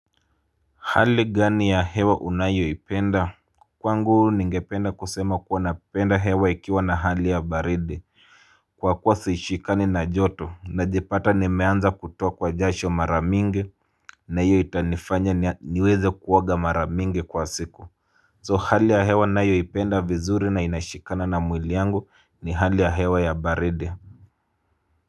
Hali gani ya hewa unayoipenda? Kwangu ningependa kusema kuwa napenda hewa ikiwa na hali ya baridi. Kwa kuwa sishikani na joto, najipata nimeanza kutokwa jasho mara mingi. Na hiyo itanifanya niweze kuoga mara mingi kwa siku So hali ya hewa ninayoipenda vizuri na inashikana na mwili yangu ni hali ya hewa ya baridi.